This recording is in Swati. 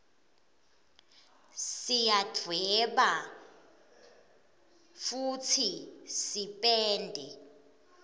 siyadweba futsi sipende